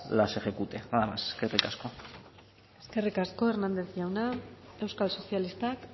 las ejecute nada más eskerrik asko hernández jauna euskal sozialistak